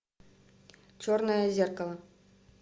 черное зеркало